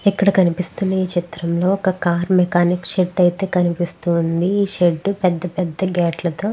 ఇక్కడ కనిపిస్తున్న ఈ చిత్రం లో ఒక కార్ మెకానిక్ షెడ్ అయితే కనిపిస్తుంది ఈ షెడ్ పెద్ద పెద్ద గేట్లతో --